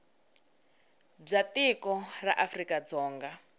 bya tiko ra afrika dzonga